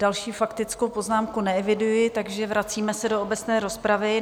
Další faktickou poznámku neeviduji, takže se vracíme do obecné rozpravy.